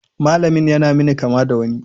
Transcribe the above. Malamin ya na min kama da wani.